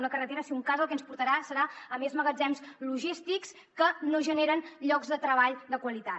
una carretera si un cas el que ens portarà serà a més magatzems logístics que no generen llocs de treball de qualitat